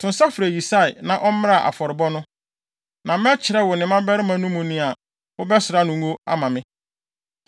To nsa frɛ Yisai na ɔmmra afɔrebɔ no, na mɛkyerɛ wo ne mmabarima no mu nea wobɛsra no ngo ama me.”